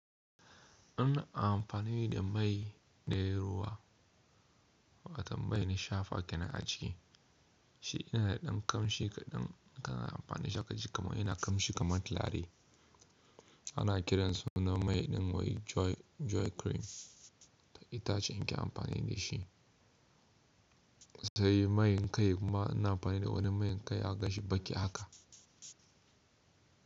Ina amfani da mai ɗayi ruwa watan mai ni shafa tina a ci, shi yana da kamshi kaɗan kana amfani da shi aka ji kuma yana kamshi kamar turare. Ana kiran sunan mai ɗin wai Joy cream itace ni ke amfani da shi, sai main kai kuma ina amfani da wani main kai zaka ganshi baki haka.